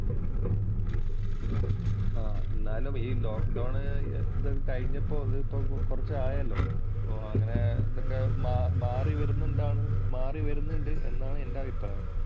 എന്നാലും ഈ lockdown‍ ഒക്കെ കഴിഞ്ഞപ്പോള്‍ ഇപ്പോ കൊറച്ചു ആയല്ലോ. അപ്പൊ അങ്ങനെ ഇതൊക്കെ മാറി വരുന്നുണ്ടാണ് മാറി വരുന്നുണ്ട് എന്നാണ് എന്‍റെ അഭിപ്രായം.